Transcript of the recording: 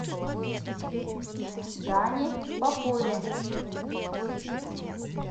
дане попове